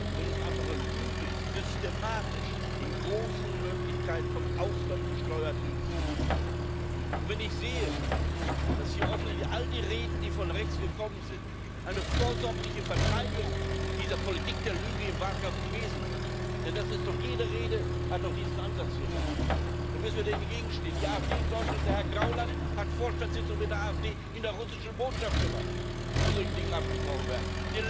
Wenn es einfach Lüge ist, systematisch in großen Möglichkeiten vom Ausland gesteuert durchzusetzen, und wenn ich sehe, dass hier offensichtlich all die Reden, die von rechts gekommen sind, eine vorsorgliche Verteidigung dieser Politik der Lüge im Wahlkampf gewesen sind denn jede Rede hat doch diesen Ansatz hier gehabt dann müssen wir doch dagegenstehen! Die AfD in Deutschland, Herr Gauland hat Vorstandssitzungen mit der AfD in der russischen Botschaft gemacht, wo solche Dinge abgesprochen werden!